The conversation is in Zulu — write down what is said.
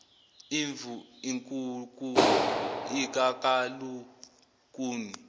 imvu inkuku ikakalikuni